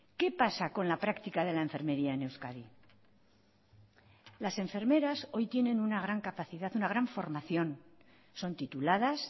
qué pasa con la práctica de la enfermería en euskadi las enfermeras hoy tienen una gran capacidad una gran formación son tituladas